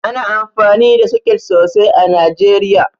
Ana amfani da soket sosai a Najeriya